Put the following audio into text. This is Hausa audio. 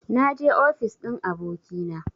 Na je ofis ɗin abokina